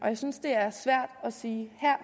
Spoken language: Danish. jeg synes det er svært at sige her